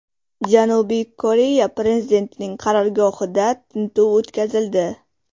Janubiy Koreya prezidentining qarorgohida tintuv o‘tkazildi.